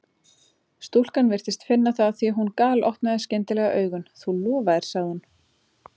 Stúlkan virtist finna það því að hún galopnaði skyndilega augun: Þú lofaðir sagði hún.